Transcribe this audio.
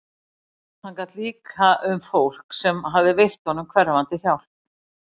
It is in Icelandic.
Hann gat líka um fólk sem hafði veitt honum hverfandi hjálp.